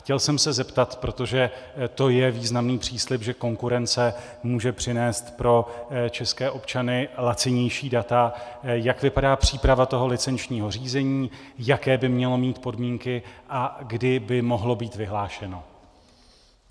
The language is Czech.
Chtěl jsem se zeptat, protože to je významný příslib, že konkurence může přinést pro české občany lacinější data, jak vypadá příprava toho licenčního řízení, jaké by mělo mít podmínky a kdy by mohlo být vyhlášeno.